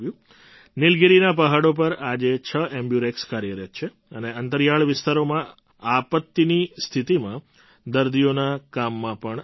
નીલગિરીના પહાડો પર આજે છ એમ્બ્યુરેક્સ કાર્યરત્ છે અને અંતરિયાળ વિસ્તારોમાં આપત્ત્તિની સ્થિતિમાં દર્દીઓના કામમાં પણ આવી રહી છે